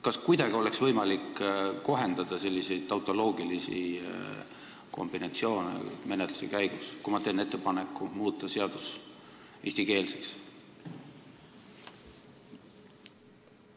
Kas kuidagi oleks võimalik menetluse käigus selliseid tautoloogilisi kombinatsioone kohendada, kui ma teen ettepaneku muuta seaduse pealkiri korrektseks?